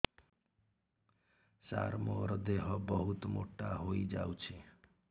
ସାର ମୋର ଦେହ ବହୁତ ମୋଟା ହୋଇଯାଉଛି